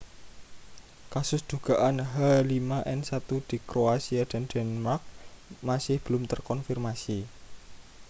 kasus dugaan h5n1 di kroasia dan denmark masih belum terkonfirmasi